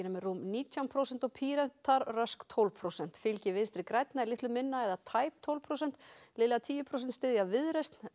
með rúm nítján prósent og Píratar rösk tólf prósent fylgi Vinstri grænna er litlu minna eða tæp tólf prósent liðlega tíu prósent styðja Viðreisn